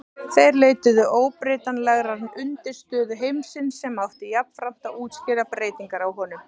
Þeir leituðu óbreytanlegrar undirstöðu heimsins sem átti jafnframt að útskýra breytingar í honum.